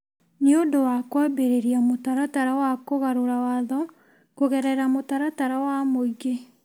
nĩ ũndũ wa kwambĩrĩria mũtaratara wa kũgarũra Watho kũgerera mũtaratara wa mũingĩ.